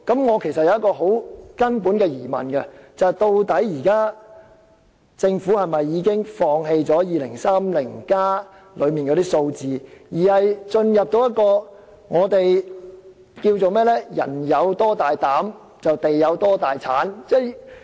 我有一個很根本的疑問：究竟政府現時是否已放棄《香港 2030+》所列的數字，並進入一個我們稱為"人有多大膽地有多大產"的情況？